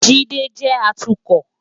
Jide jé átùkò